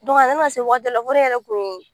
a yɛrɛ nana se waati dɔ la ne yɛrɛ kun ye